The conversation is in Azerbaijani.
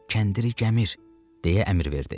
kəndiri gəmir deyə əmr verdi.